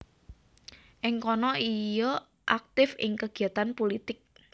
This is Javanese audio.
Ing kana ia aktif ing kegiatan pulitik